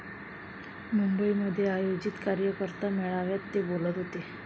मुंबईमध्ये आयोजित कार्यकर्ता मेळाव्यात ते बोलत होते.